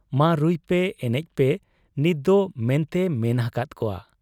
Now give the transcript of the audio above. ᱢᱟ ᱨᱩᱭᱯᱮ ᱟᱨ ᱮᱱᱮᱡᱯᱮ ᱱᱤᱛᱫᱚ ᱢᱮᱱᱛᱮᱭᱮ ᱢᱮᱱ ᱟᱠᱟᱦᱟᱫ ᱠᱚᱣᱟ ᱾